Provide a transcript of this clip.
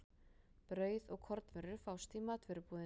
Brauð og kornvörur fást í matvörubúðinni.